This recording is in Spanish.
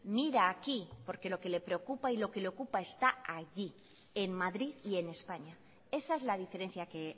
mira aquí porque lo que le preocupa y lo que le ocupa está allí en madrid y en españa esa es la diferencia que